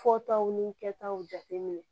Fɔtaw ni kɛtaw jateminɛ